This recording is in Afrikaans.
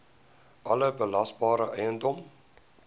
alle belasbare eiendom